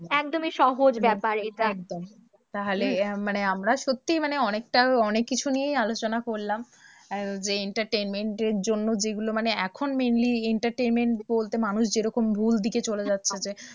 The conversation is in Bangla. একদমই সহজ ব্যাপার এটা, একদম তাহলে আহ মানে আমরা সত্যি মানে অনেকটা অনেককিছু নিয়েই আলোচনা করলাম আহ যে entertainment এর জন্য যেগুলো মানে এখন mainly entertainment বলতে মানুষ যেরকম ভুল দিকে চলে যাচ্ছে,